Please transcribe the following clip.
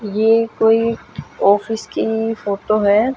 ये कोई ऑफिस की फोटो है।